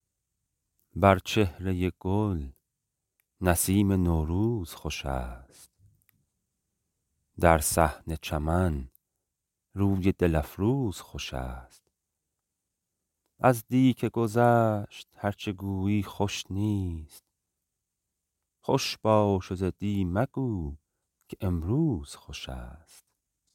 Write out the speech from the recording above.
بر چهرۀ گل نسیم نوروز خوش است در صحن چمن روی دل افروز خوش است از دی که گذشت هر چه گویی خوش نیست خوش باش و ز دی مگو که امروز خوش است